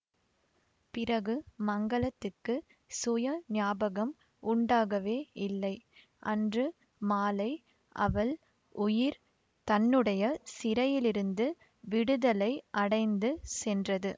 பிறகு மங்களத்துக்குச் சுய ஞாபகம் உண்டாகவேயில்லை அன்று மாலை அவள் உயிர் தன்னுடைய சிறையிலிருந்து விடுதலை அடைந்து சென்றது